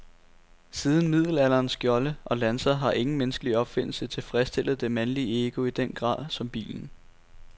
Siden middelalderens skjolde og lanser har ingen menneskelig opfindelse tilfredsstillet det mandlige ego i den grad som bilen.